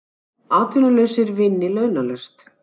Atvinnulausir vinni launalaust